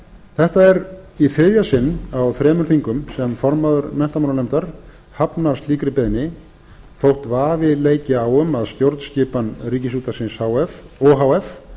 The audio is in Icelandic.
þetta er í þriðja sinn á þremur þingum sem formaður menntamálanefndar hafnar slíkri beiðni þótt vafi leiki á um að